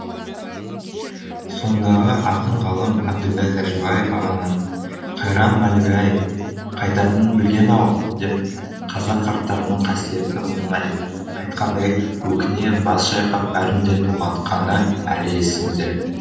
сондағы ақын ғалым әбділда тәжібаев ағаның қайран мәлік ай қайтатынын білген ау деп қазақ қарттарының қасиетті мұңын айтқандай өкіне бас шайқап бәрін де толғантқаны әлі емісде